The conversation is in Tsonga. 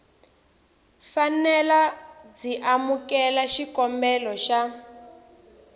fanele byi amukela xikombelo xa